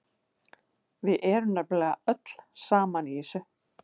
Við erum nefnilega öll saman í þessu.